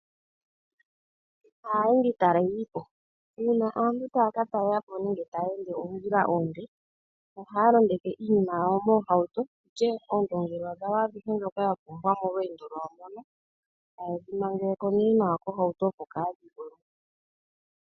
Aayendi taleli po, uuna aantu taya ka talela po nenge taya ende oondjila oonde ohaya londeke iinima yawo moohauto onke oondengelwa dhawo dhoka adhihe ya pumbwa molweendo lwawo ndoka taye dhi mangele ko tuu nawa kohauto opo kadhi gwe mo.